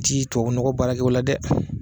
Ti tobabu nɔgɔ baarakɛ o la dɛ!